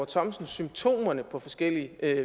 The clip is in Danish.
thomsen symptomerne på forskellig